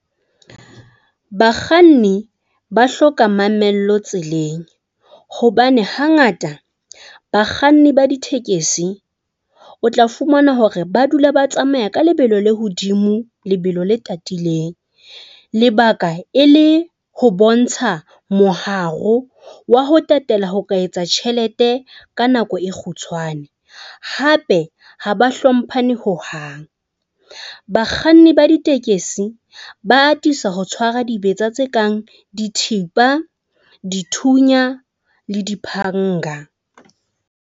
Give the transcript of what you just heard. Bakganni ba hloka mamello tseleng hobane hangata bakganni ba ditekesi o tla fumana hore ba dula ba tsamaya ka lebelo le hodimo lebelo le tatileng. Lebaka e le ho bontsha moharo wa ho tatela ho ka etsa tjhelete ka nako e kgutshwane. Hape ha ba hlomphane ho hang. Bakganni ba ditekesi ba atisa ho tshwara dibetsa tse kang dithipa, dithunya le diphanga.